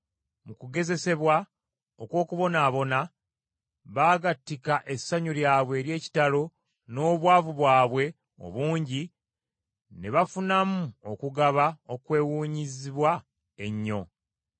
Mu kugezesebwa okw’okubonaabona, baagattika essanyu lyabwe ery’ekitalo n’obwavu bwabwe obungi, ne bafunamu okugaba okwewuunyizibwa ennyo.